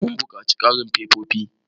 Mun buƙaci ƙarin fefofi.